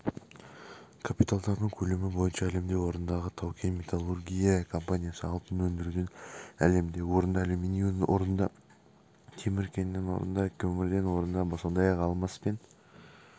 капиталдану көлемі бойынша әлемде орындағы таукен-металлургия компаниясы алтын өндіруден әлемде орында алюминийден орында темір кенінен орында көмірден орында сондай-ақ алмас пен